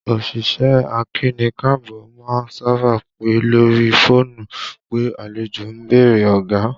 Òṣìṣẹ́ akíni-káàbọ́ má ń sábà pè lórí fóònù pé àlejò ń bèrè ọ̀gá